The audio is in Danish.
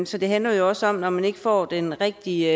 så det handler også om at man ikke får den rigtige